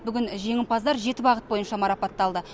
бүгін жеңімпаздар жеті бағыт бойынша марапатталды